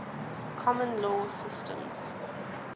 common law systems